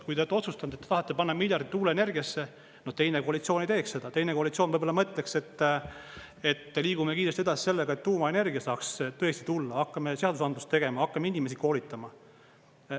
Kui te olete otsustanud, et te tahate panna miljardit tuuleenergiasse, no teine koalitsioon ei teeks seda, teine koalitsioon võib-olla mõtleks, et liigume kiiresti edasi sellega, et tuumaenergia saaks tõesti tulla, hakkame seadusandlust tegema, hakkame inimesi koolitama.